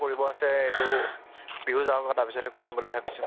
কৰিব আছে এইটো, বিহু যাওঁক আৰু তাৰ পিছতহে কৰিম বুলি ভাবিছো